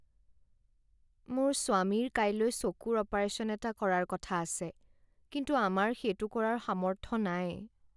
মোৰ স্বামীৰ কাইলৈ চকুৰ অপাৰেশ্যন এটা কৰাৰ কথা আছে কিন্তু আমাৰ সেইটো কৰাৰ সামৰ্থ নাই।